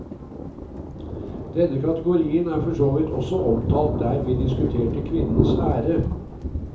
Denne kategorien er for så vidt også omtalt der vi diskuterte kvinnens ære.